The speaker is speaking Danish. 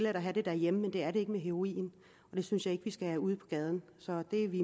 at have derhjemme men det er det ikke med heroin det synes jeg ikke vi skal have ud på gaden så det er vi